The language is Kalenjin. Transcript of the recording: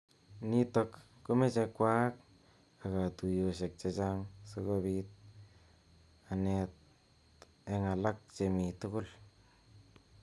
Nitok komeche kwaak ak katuyoshek chechang sikobit anet eng alak chemi tugul.